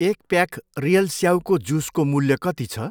एक pack real स्याउको जुसको मूल्य कति छ ?